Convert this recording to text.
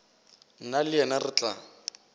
nna le yena re tla